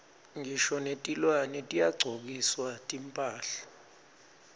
ngisho netilwane tiyagcokiswa timphahla